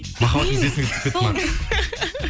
махаббатыңыз есіңізге түсіп кетті ма